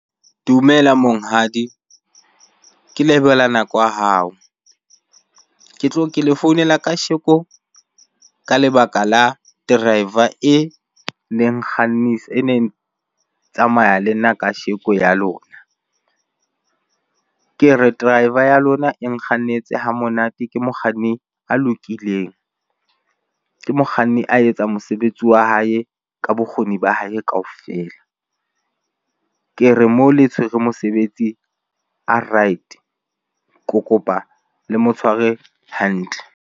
Dumela monghadi ke lebohela nako ya hao, ke tlo ke le founela Kasheko ka lebaka la driver e leng Kgannise e neng tsamaya le nna kasheko ya lona. Ke re driver ya lona e nkgannetse hamonate ke mokganni a lokileng, ke mokganni a etsa mosebetsi wa hae ka bokgoni ba hae kaofela. Ke re mo le tshwere mosebetsi a right, ke kopa le mo tshware hantle.